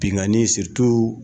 Binkanni